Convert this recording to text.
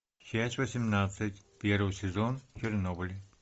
часть восемнадцать первый сезон чернобыль